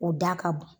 O da ka bon